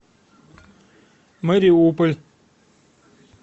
мариуполь